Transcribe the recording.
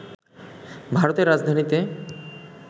ভারতের রাজধানীতে